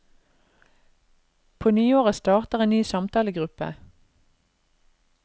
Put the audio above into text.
På nyåret starter en ny samtalegruppe.